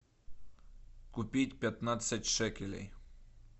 купить пятнадцать шекелей